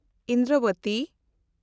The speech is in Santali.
ᱤᱱᱫᱨᱚᱵᱚᱛᱤ